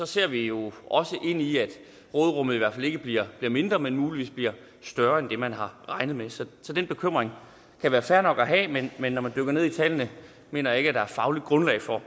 ser vi jo også ind i at råderummet i hvert fald ikke bliver mindre men muligvis bliver større end det man har regnet med så den bekymring kan være fair nok at have men men når man dykker ned i tallene mener jeg ikke der er fagligt grundlag for at